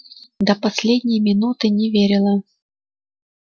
до последней минуты не верила